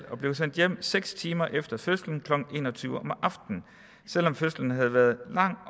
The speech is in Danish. og blev sendt hjem seks timer efter fødslen klokken en og tyve om aftenen selv om fødslen havde været lang